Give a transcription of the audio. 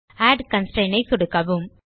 add constraint ஐ சொடுக்கவும்